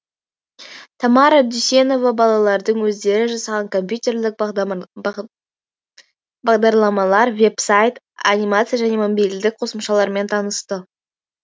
тамара дүйсенова балалардың өздері жасаған компьютерлік бағдарламалар веб сайт анимация және мобильдік қосымшалармен танысты